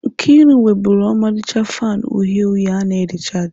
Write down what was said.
Nkeiru nwebulu ọmarịcha fanu uhie uhie a na rịchaajị.